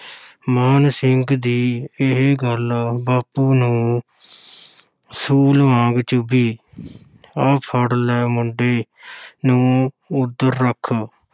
ਮਾਨ ਸਿੰਘ ਦੀ ਇਹ ਗੱਲ ਬਾਪੂ ਨੂੰ ਸੂਲ ਵਾਂਗ ਚੁੱਭੀ ਆਹ ਫੜ ਲੈ ਮੁੰਡੇ ਨੂੰ ਓਧਰ ਰੱਖ,